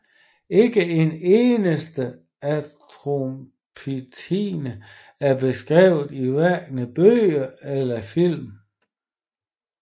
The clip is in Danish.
Ikke en eneste astronomitime er beskrevet i hverken bøgerne eller filmene